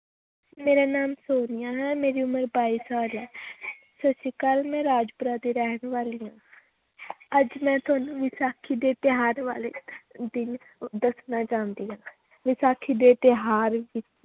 ਮੇਰਾ ਨਾਂ ਸੋਨੀਆ ਹੈ ਮੇਰੀ ਉਮਰ ਬਾਈ ਸਾਲ ਹੈ ਸਤਿ ਸ੍ਰੀ ਅਕਾਲ ਮੈਂ ਰਾਜਪੁਰਾ ਦੀ ਰਹਿਣ ਵਾਲੀ ਹਾਂ ਅੱਜ ਮੈਂ ਤੁਹਾਨੂੰ ਵਿਸਾਖੀ ਦੇ ਤਿਉਹਾਰ ਬਾਰੇ ਦ ਦੱਸਣਾ ਚਾਹੁੰਦੀ ਹਾਂ ਵਿਸਾਖੀ ਦੇ ਤਿਉਹਾਰ